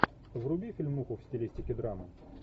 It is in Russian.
вруби фильмуху в стилистики драма